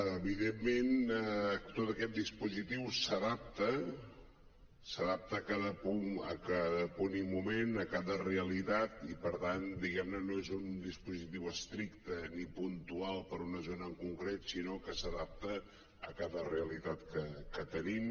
evidentment tot aquest dispositiu s’adapta a cada punt i moment a cada realitat i per tant diguem ne no és un dispositiu estricte ni puntual per a una zona en concret sinó que s’adapta a cada realitat que tenim